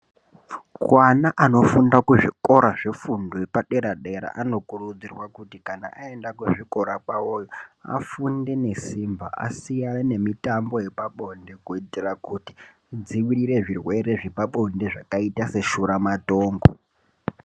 Vana vanofunda kuzvikora zvefundo yepadera-dera anokurudzirwa kuti kana aenda kuzvikora kwavoyo afunde nesimba. Asiyane nemitambo yepabonde kuitire kuti idzivirire zvirwere zvepabonde zvakaita seshura matongo.